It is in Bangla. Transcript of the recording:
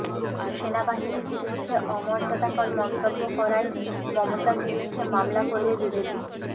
সেনাবাহিনীর বিরুদ্ধে অমর্যাদাকর মন্তব্য করায় মমতার বিরুদ্ধে মামলা করবে বিজেপি